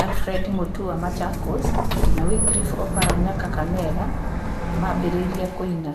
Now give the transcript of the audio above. Alibredi Mutua (Machakos), na Wikirifu Oparanya (Kakamega), maambĩrĩria kũina.